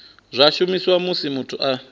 zwa shumiswa musi muthu a